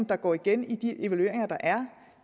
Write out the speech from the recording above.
der går igen i de evalueringer der er